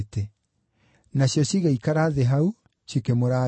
Nacio cigĩikara thĩ hau, cikĩmũrangĩra.